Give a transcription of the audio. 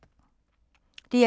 DR2